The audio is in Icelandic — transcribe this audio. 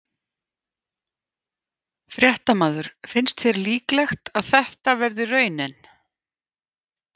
Fréttamaður: Finnst þér líklegt að það verði raunin?